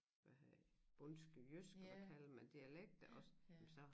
Hvad hedder der bondske jysk og hvad kalder mand et dialekter også jamen så